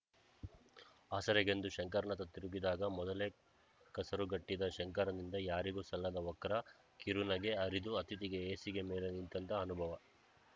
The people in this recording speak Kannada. ಆಸರೆಗೆಂದು ಶಂಕರ್‌ ನತ್ತ ತಿರುಗಿದಾಗ ಮೊದಲೇ ಕಸರುಗಟ್ಟಿದ್ದ ಶಂಕರನಿಂದ ಯಾರಿಗೂ ಸಲ್ಲದ ವಕ್ರ ಕಿರುನಗೆ ಹರಿದು ಅತಿಥಿಗೆ ಹೇಸಿಗೆ ಮೇಲೆ ನಿಂತಂಥ ಅನುಭವ